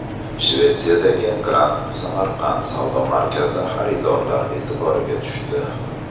Shvetsiyadagi Grand Samarkand savdo markazi xaridorlar e’tiboriga tushdi .